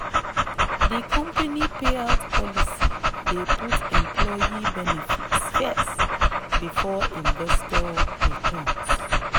di company payout policy dey put employee benefits first before investor returns.